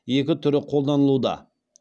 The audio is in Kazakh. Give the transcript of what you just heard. екі түрі қолданылуда